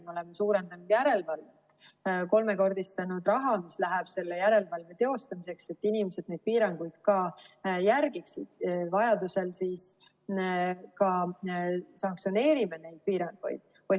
Me oleme suurendanud järelevalvet, kolmekordistanud raha, mis läheb selle järelevalve teostamiseks, et inimesed neid piiranguid ka järgiksid, vajadusel siis ka sanktsioneerime neid piiranguid.